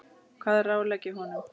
Hvað ráðlegg ég honum?